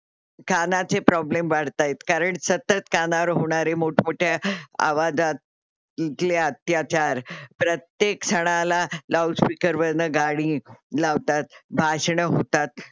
कानाचे Problem वाढतायत कारण सतत कानावर होणारे मोठमोठे आवाजातले अत्याचार प्रत्येक क्षणाला लाउडस्पीकरवरन गाणी लावतात, भाषण होतात.